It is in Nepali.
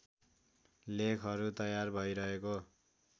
लेखहरू तयार भैरहेको